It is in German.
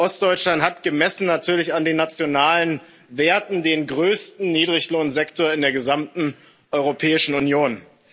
Ostdeutschland hat gemessen natürlich an den nationalen Werten den größten Niedriglohnsektor in der gesamten Europäischen Union.